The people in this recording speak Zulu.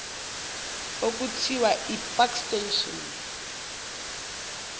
okuthiwa ipark station